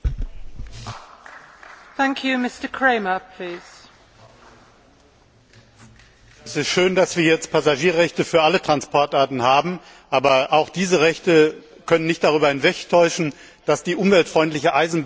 Frau Präsidentin! Es ist schön, dass wir jetzt Passagierrechte für alle Transportarten haben, aber auch diese Rechte können nicht darüber hinwegtäuschen, dass die umweltfreundliche Eisenbahn auch hier wieder extrem benachteiligt wird.